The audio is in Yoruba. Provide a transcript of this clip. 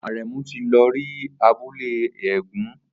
Aremu ti lọ rí abúlé eégún